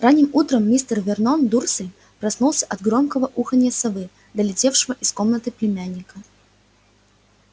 ранним утром мистер вернон дурсль проснулся от громкого уханья совы долетевшего из комнаты племянника